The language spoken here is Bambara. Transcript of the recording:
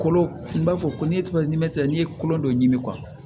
Kolo i b'a fɔ ko ni n'i ye kolo dɔ ɲimi